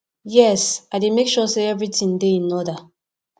yes i dey make sure say everything dey in order